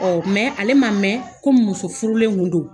mɛ ale ma mɛn komi muso furulen kun don.